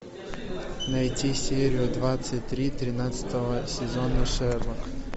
найти серию двадцать три тринадцатого сезона шерлок